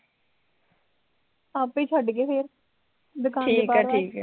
ਆਪੇ ਛੱਡ ਗਏ ਫੇਰ ਦੁਕਾਨ ਦੇ